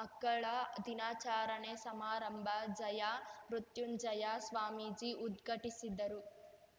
ಮಕ್ಕಳ ದಿನಾಚಾರಣೆ ಸಮಾರಂಭ ಜಯ ಮೃತ್ಯುಂಜಯ ಸ್ವಾಮೀಜಿ ಉದ್ಘಟಿಸಿದರು